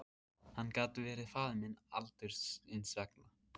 Hann gat verið faðir minn aldursins vegna.